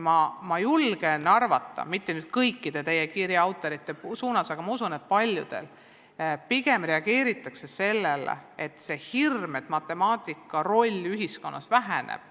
Ma julgen arvata, et mitte küll kõik teie kirjade autorid, aga usun, et paljud reageerivad pigem sellele hirmule, et matemaatika roll ühiskonnas väheneb.